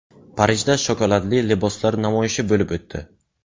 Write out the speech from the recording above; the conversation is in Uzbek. Parijda shokoladli liboslar namoyishi bo‘lib o‘tdi.